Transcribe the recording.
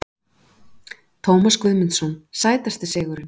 Tómas Guðmundsson Sætasti sigurinn?